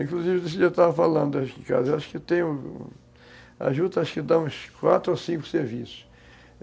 Inclusive, nesse dia eu estava falando, acho que em casa acho que tem... A juta dá uns quatro ou cinco serviços.